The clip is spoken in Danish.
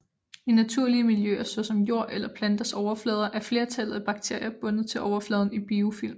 I naturlige miljøer såsom jord eller planters overflader er flertallet af bakterier bundet til overfladen i biofilm